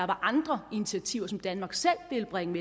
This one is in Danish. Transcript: var andre initiativer som danmark selv vil bringe